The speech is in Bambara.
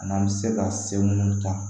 An'an bɛ se ka se munnu ta